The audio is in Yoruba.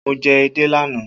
Mo jẹ edé lánàá